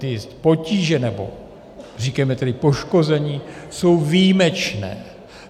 Ty potíže, nebo říkejme tedy poškození, jsou výjimečné.